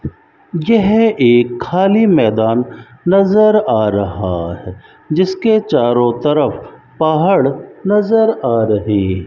यह एक खाली मैदान नजर आ रहा है जिसके चारों तरफ पहाड़ नजर आ रही--